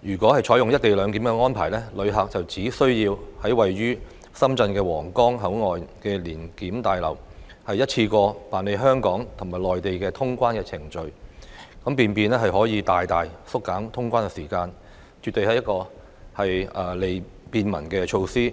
如果採用"一地兩檢"安排，旅客只需要在位於深圳的皇崗口岸聯檢大樓一次過辦理香港和內地的通關程序，便可以大大縮減通關時間，絕對是一項便民措施。